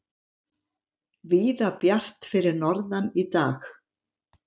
Víða bjart fyrir norðan í dag